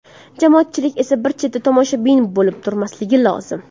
Jamoatchilik esa bir chetda tomoshabin bo‘lib turmasligi lozim”.